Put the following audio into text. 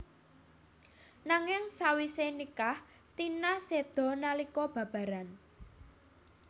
Nanging sawise nikah Tina seda nalika babaran